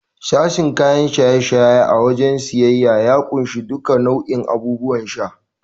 Sashen kayan shaye-shaye a wajen siyayya ya kunshi duka bau'in abubuwan sha.